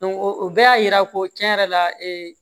o bɛɛ y'a yira ko cɛn yɛrɛ la ee